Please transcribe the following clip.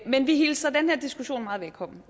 men vi hilser den her diskussion meget velkommen